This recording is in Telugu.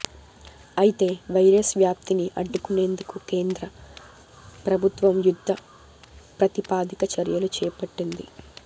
అయితే వైరస్ వ్యాప్తిని అడ్డుకునేందుకు కేంద్ర ప్రభుత్వం యుద్ధ ప్రతిపాదిక చర్యలు చేపట్టింది